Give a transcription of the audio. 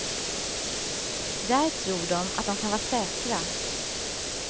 Där tror de att de kan vara säkra.